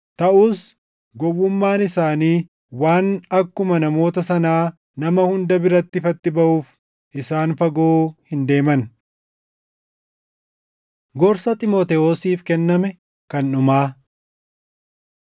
Taʼus gowwummaan isaanii waan akkuma namoota sanaa nama hunda biratti ifatti baʼuuf isaan fagoo hin deeman. Gorsa Xiimotewosiif Kenname Kan Dhumaa